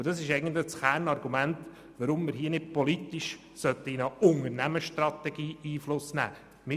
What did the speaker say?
Dies ist auch das Kernargument, weshalb wir nicht politisch auf eine Unternehmensstrategie Einfluss nehmen sollten.